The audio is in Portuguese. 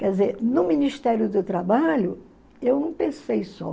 Quer dizer, no Ministério do Trabalho, eu não pensei só.